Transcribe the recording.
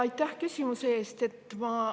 Aitäh küsimuse eest!